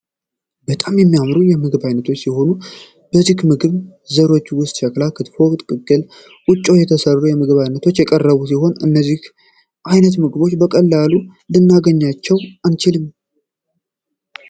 በጣም የሚያምሩ የምግብ ዓይነቶች ሲሆኑ ከዚህ የምግብ ዘሮች ውስጥ ሸክላ፥ ክትፎ ፥ ቅቅል፥ ቁጮ የተሰሩ የምግብ አይነቶች የቀረቡ ሲሆን እነዚህን አይነት ምግቦች በቀላሉ ልናገኛቸው አንችልም።